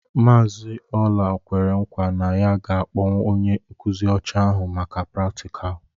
Mazị Ola kwere nkwa na ya ga-akpọ onye nkuzi ọcha ahụ maka pratikalu.